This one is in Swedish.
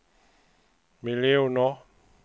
miljoner